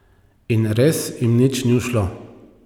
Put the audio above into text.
In res jim nič ni ušlo.